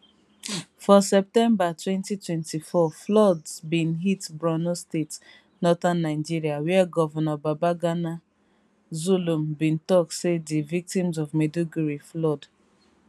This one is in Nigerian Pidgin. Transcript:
for september 2024 floods bin hit borno state northern nigeria wiagovnor babagana zulum bin tok say di victims of maiduguri flood